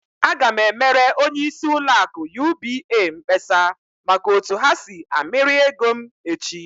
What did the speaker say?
Aga m emere onyeisi ụlọ akụ UBA mkpesa maka otu ha si amịrị ego m echi!